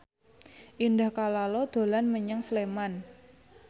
Indah Kalalo dolan menyang Sleman